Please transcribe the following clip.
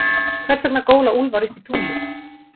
Hversvegna góla úlfar upp í tunglið?